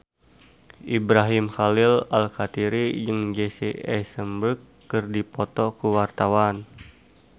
Ibrahim Khalil Alkatiri jeung Jesse Eisenberg keur dipoto ku wartawan